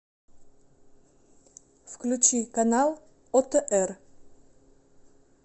включи канал отр